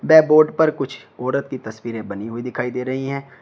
व बोर्ड पर कुछ औरत की तस्वीरें बनी हुई दिखाई दे रही हैं।